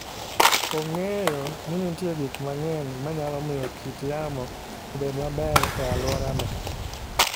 Ong'eyo ni nitie gik mang'eny ma nyalo miyo kit yamo obed maber e alworano.